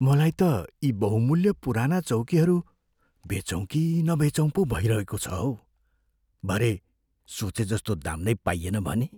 मलाई त यी बहुमूल्य पुराना चौकीहरू बेचौँ कि नबेचौँ पो भइरहेको छ हौ। भरे सोचेजस्तो दाम नै पाइएन भने?